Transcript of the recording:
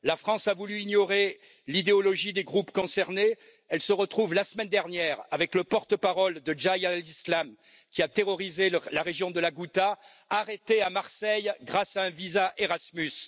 La France a voulu ignorer l'idéologie des groupes concernés, elle se retrouve la semaine dernière avec le porte parole de Jaich al Islam, qui a terrorisé la région de la Ghouta, arrêté à Marseille grâce à un visa Erasmus.